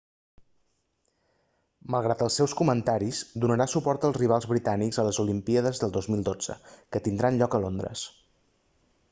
malgrat els seus comentaris donarà suport als rivals britànics a les olimpíades del 2012 que tindran lloc a londres